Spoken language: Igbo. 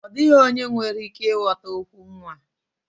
Ọ dịghị onye nwere ike ịghọta okwu nwa